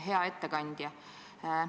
Hea ettekandja!